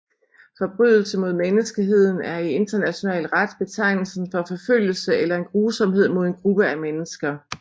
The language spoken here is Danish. Forbrydelse mod menneskeheden er i international ret betegnelsen for forfølgelse eller en grusomhed mod en gruppe af mennesker